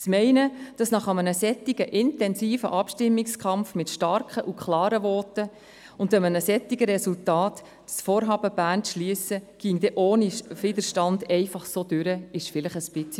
Es war vielleicht blauäugig zu glauben, das Vorhaben, das Studio Bern zu schliessen, ginge nach einem so intensiven Abstimmungskampf mit starken und klaren Voten und einem solchen Resultat ohne Widerstand über die Bühne.